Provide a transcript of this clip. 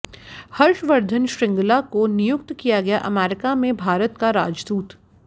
हर्षवर्धन श्रृंगला को नियुक्त किया गया अमेरिका में भारत का राजदूत